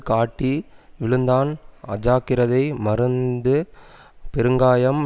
காட்டி விழுந்தான் அஜாக்கிரதை மறந்து பெருங்காயம்